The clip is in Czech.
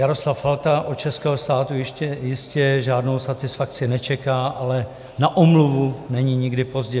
Jaroslav Falta od českého státu ještě jistě žádnou satisfakci nečeká, ale na omluvu není nikdy pozdě.